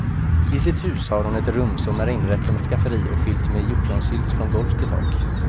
I sitt hus har hon ett rum som är inrett som ett skafferi och fyllt med hjortronsylt från golv till tak.